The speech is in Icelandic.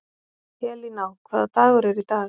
Elíná, hvaða dagur er í dag?